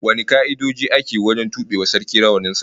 Wane ka'idoji aka wajen tube wa Sarkin rawanin sa?